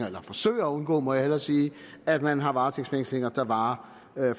eller forsøger at undgå må jeg hellere sige at man har varetægtsfængslinger der varer